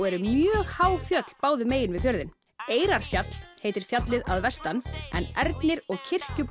eru mjög há fjöll báðum megin við fjörðinn Eyrarfjall heitir fjallið að vestan en Ernir og